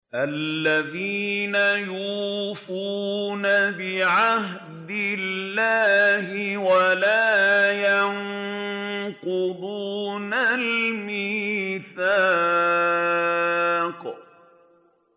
الَّذِينَ يُوفُونَ بِعَهْدِ اللَّهِ وَلَا يَنقُضُونَ الْمِيثَاقَ